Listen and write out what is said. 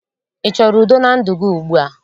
Ị choro udo na ndụ gị ugbua?